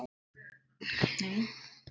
Ljósar hetjur og dökkar hetjur.